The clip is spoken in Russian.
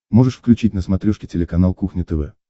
можешь включить на смотрешке телеканал кухня тв